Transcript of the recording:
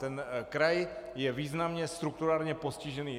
Ten kraj je významně strukturálně postižený.